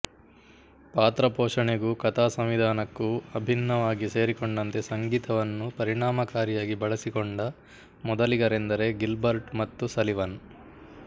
ಪಾತ್ರ ಪೋಷಣೆಗೂ ಕಥಾಸಂವಿಧಾನಕ್ಕೂ ಅಭಿನ್ನವಾಗಿ ಸೇರಿಕೊಂಡಂತೆ ಸಂಗೀತವನ್ನು ಪರಿಣಾಮಕಾರಿಯಾಗಿ ಬಳಸಿಕೊಂಡ ಮೊದಲಿಗರೆಂದರೆ ಗಿಲ್ಬರ್ಟ್ ಮತ್ತು ಸಲಿವನ್